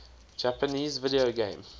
japanese video game